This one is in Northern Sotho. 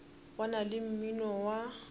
go na le mmino wa